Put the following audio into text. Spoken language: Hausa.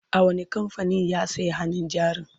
a wani kamfanin ya saya hannun jarin?